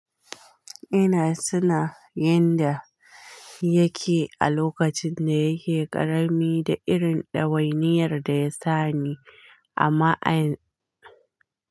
Ina tuna yanda yake a lokacin da yake ƙarami da irin ɗawainiyar da ya sani a ma'a ya.